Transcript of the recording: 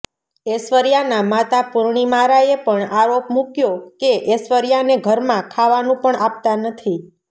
ઐશ્વર્યાના માતા પૂર્ણિમા રાયે પણ આરોપ મૂકયો કે ઐશ્વર્યાને ઘરમાં ખાવાનું પણ આપતા નથી